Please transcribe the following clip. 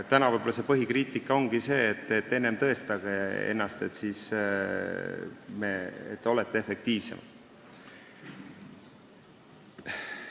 Praegu võib põhikriitika olla selline, et enne tõestage ennast, et te olete efektiivsemad.